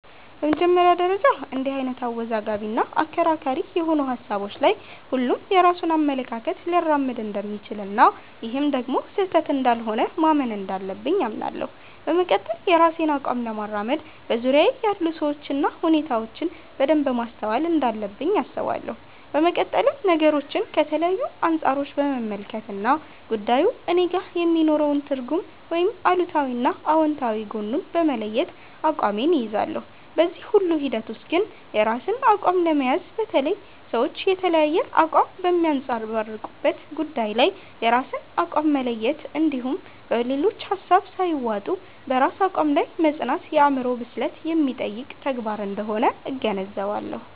በመጀመሪያ ደረጃ እንድህ አይነት አወዛጋቢ እና አከራካሪ የሆኑ ሀሳቦች ላይ ሁሉም የራሱን አመለካከት ሊያራምድ እንደሚችል እና ይህም ደግሞ ስህተት እንዳልሆነ ማመን እንዳለብኝ አምናለሁ። በመቀጠል የራሴን አቋም ለማራመድ በዙርያየ ያሉ ሰዎችን እና ሁኔታዎችን በደንብ ማስተዋል እንዳለብኝ አስባለሁ። በመቀጠልም ነገሮችን ከተለያዩ አንፃሮች በመመልከት እና ጉዳዩ እኔጋ የሚኖረውን ትርጉም ወይም አሉታዊ እና አውንታዊ ጎኑን በመለየት አቋሜን እይዛለሁ። በዚህ ሁሉ ሂደት ውስጥ ግን የራስን አቋም ለመያዝ፣ በተለይ ሰዎች የተለያየ አቋም በሚያንፀባርቁበት ጉዳይ ላይ የራስን አቋም መለየት እንድሁም በሌሎች ሀሳብ ሳይዋጡ በራስ አቋም ላይ መፅናት የአዕምሮ ብስለት የሚጠይቅ ተግባር አንደሆነ እገነዘባለሁ።